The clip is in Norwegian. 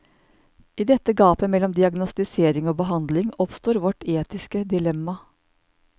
I dette gapet mellom diagnostisering og behandling, oppstår vårt etiske dilemma.